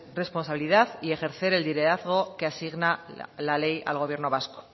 responsabilidad y ejercer el liderazgo que asigna la ley al gobierno vasco